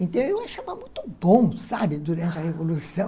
Então, eu achava muito bom, sabe, durante a Revolução.